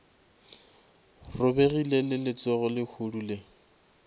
robegile le letsogo lehodu le